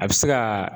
A bɛ se ka